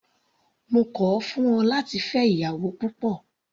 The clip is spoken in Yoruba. Mo kọ̀ ọ́ fún ẹ láti fẹ́ ìyàwó púpọ̀.